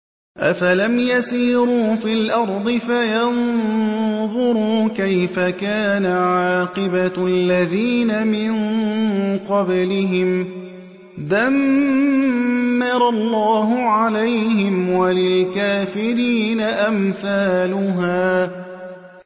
۞ أَفَلَمْ يَسِيرُوا فِي الْأَرْضِ فَيَنظُرُوا كَيْفَ كَانَ عَاقِبَةُ الَّذِينَ مِن قَبْلِهِمْ ۚ دَمَّرَ اللَّهُ عَلَيْهِمْ ۖ وَلِلْكَافِرِينَ أَمْثَالُهَا